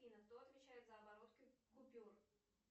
афина кто отвечает за оборот купюр